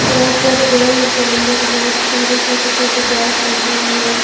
यहां पर ग्राउंड के अंदर बहोत सारी छोटी छोटी घास लगी हुई है।